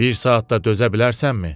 Bir saat da dözə bilərsənmi?